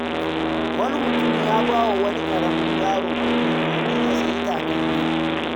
Wani mutum ya ba wa wani ƙaramin yaro kuɗi domin ya sayi takalmi.